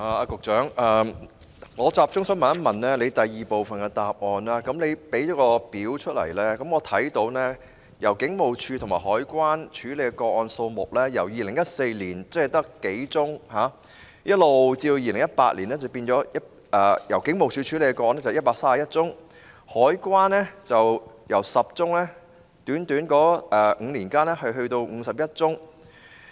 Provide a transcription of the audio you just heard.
局長在主體答覆第二部分的列表，提供了警務處和海關調查的個案數目，在短短5年間，警務處調查的個案由2014年的數宗上升至2018年的131宗，而海關調查的個案則由10宗上升至51宗。